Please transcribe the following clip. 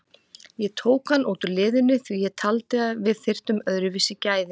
Ég tók hann út úr liðinu því að ég taldi að við þyrftum öðruvísi gæði.